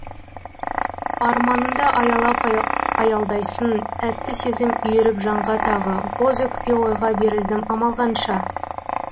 арманыңды аялап аялдайсың тәтті сезім үйіріп жанға тағы боз өкпе ойға берілдім амал қанша